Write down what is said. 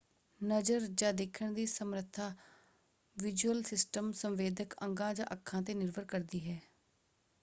ਨਜ਼ਰ ਜਾਂ ਦੇਖਣ ਦੀ ਸਮਰੱਥਤਾ ਵਿਜ਼ੂਅਲ ਸਿਸਟਮ ਸੰਵੇਦਕ ਅੰਗਾਂ ਜਾਂ ਅੱਖਾਂ 'ਤੇ ਨਿਰਭਰ ਕਰਦੀ ਹੈ।